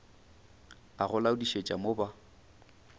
a go laodišetša mo ba